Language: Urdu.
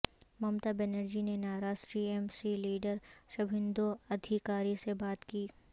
ممتا بنرجی نے ناراض ٹی ایم سی لیڈرشبھندو ادھیکاری سے بات کی